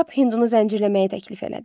Kap hindunu zəncirləməyi təklif elədi.